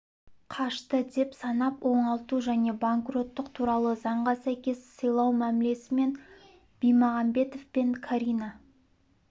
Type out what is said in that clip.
қашты деп санап оңалту және банкроттық туралы заңға сәйкес сыйлау мәмілесі мен бимағанбетов пен карина